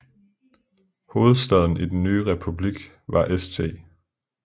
Hovedstaden i den nye republik var St